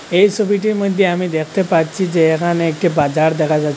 এই সবিটির মইধ্যে আমি দেখতে পাচ্ছি যে এখানে একটি বাজার দেখা যাচ্ছে।